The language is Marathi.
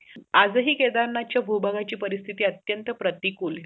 आज हे केदारनाथ भूभागाची परिस्थिती अत्यंत प्रतिकूल